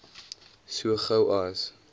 so gou as